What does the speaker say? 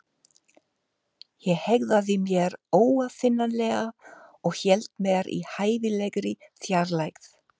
Ég hegðaði mér óaðfinnanlega- og hélt mér í hæfilegri fjarlægð.